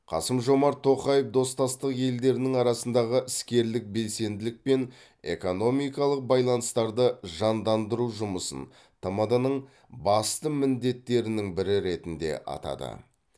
қасым жомарт тоқаев достастық елдерінің арасындағы іскерлік белсенділік пен экономикалық байланыстарды жандандыру жұмысын тмд ның басты міндеттерінің бірі ретінде атады